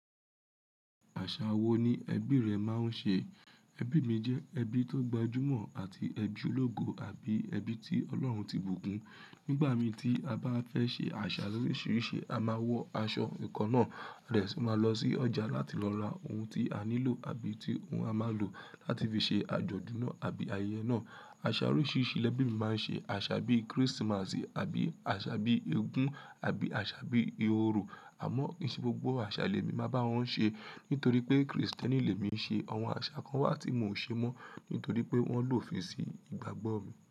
Àṣà wo ni ẹbí rẹ máa ń ṣe? Ẹbí mi jẹ ẹbí tó gbajúmọ̀ àti ẹbí ológo àbí ẹbí tí Ọlọ́run ti bùkún. Nígbà mí tí a bá fẹ́ ṣe àṣà loríṣiríṣi a máa wọ aṣọ ìkan náà, a dè sì máa lọ sí ọjà láti lọ ra ohun tí a nílò àbí ohun tí a máa lò láti fi ṣe àjọ̀dún náà àbí ayẹyẹ náà. Àṣà oríṣiríṣi lẹbí mi máa ń ṣe, àṣà bí kírísímásì àbí àṣà bí ogún àbí àṣà bí ióró. Àmọ́ kì í ṣe gbogbo àṣà lèmi máa bá wọn ṣe, nítorí pé Krìstẹ́nì lèmi ṣe, àwọn àṣà kan wá tí mò ń ṣe mọ́, nítorí pé wọ́n lòdi sí ìgbàgbọ́ mi.